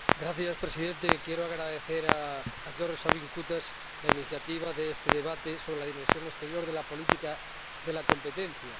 Señor Presidente, quiero agradecer a George Sabin Cutaș la iniciativa de este debate sobre la dimensión exterior de la política de competencia.